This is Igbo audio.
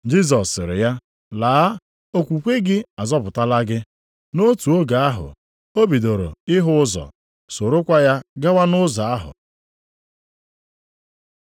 Jisọs sịrị ya, “Laa, okwukwe gị azọpụtala gị.” Nʼotu oge ahụ, o bidoro ịhụ ụzọ, sorokwa ya gawa nʼụzọ ahụ.